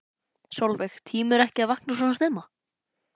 Sólveig: Tímirðu ekki að vakna svona snemma?